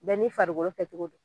Bɛɛ n'i farikolo kɛcogo do.